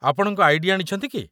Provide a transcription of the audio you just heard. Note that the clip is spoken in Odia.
ଆପଣଙ୍କ ଆଇ.ଡି. ଆଣିଛନ୍ତି କି?